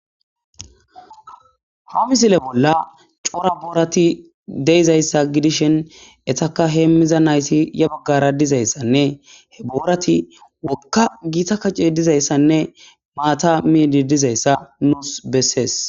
Ha misile bolla cora boorati deizayssa gidishin etaka heemmiza naysi ya baggara dizayssanne he boorati wokka giita kacce dizayssanne maata miidi dizayssa nuus bessees